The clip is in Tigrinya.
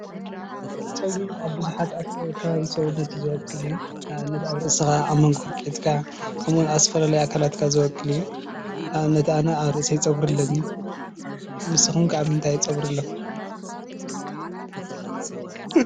ፀጉሪ ኣብ ብዙሓት ከባቢ ሰውነት ዝበቁል እዩ፡፡ ንኣብነት ኣብ ርእስኻ፣ ኣብ ሞንጎ መንኮርኲዕትካ ከምኡውን ኣብ ዝተፈላለዩ ኣካላትካ ዝበቁል እዩ፡፡ ንኣብነት ኣነ ኣብ ርእሰይ ፀጉሪ ኣለኒ፡፡ ንስኹም ከ ኣብ ምንታይ ፀጉሪ ኣለኩም?